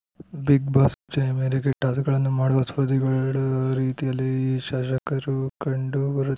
Bigg Boss ಸೂಚನೆಯ ಮೇರೆಗೆ ಟಾಸ್ಕ್‌ಗಳನ್ನು ಮಾಡುವ ಸ್ಪರ್ಧಿಗಳ ರೀತಿಯಲ್ಲೇ ಈ ಶಾಸಕರು ಕಂಡು ಬರು